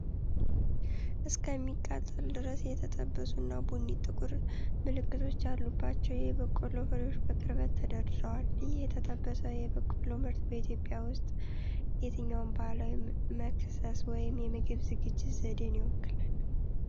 እስከሚቃጠሉ ድረስ የተጠበሱና ቡኒ ጥቁር ምልክቶች ያሉባቸው የበቆሎ ፍሬዎች በቅርበት ተደርድረዋል። ይህ የተጠበሰ የበቆሎ ምርት በኢትዮጵያ ውስጥ የትኛውን ባህላዊ መክሰስ ወይም የምግብ ዝግጅት ዘዴን ይወክላል?